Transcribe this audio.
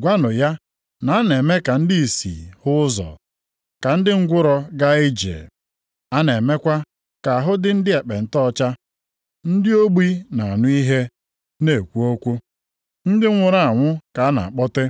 Gwanụ ya na a na-eme ka ndị ìsì hụ ụzọ, ka ndị ngwụrọ gaa ije. A na-emekwa ka ahụ ndị ekpenta dị ọcha. + 11:5 Ọrịa a bụ ekpenta, a bụghị ka anyị si mara ya nʼala anyị, kama ọ bụ aha ndị Griik ji mara ọrịa niile dị iche iche nke na-emetụta akpụkpọ ahụ. Ndị ogbi na-anụ ihe, na-ekwu okwu. Ndị nwụrụ anwụ ka a na-akpọte.